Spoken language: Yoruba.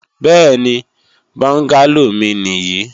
Bẹ́ẹ̀ni, bọ́ngálò mi nì yí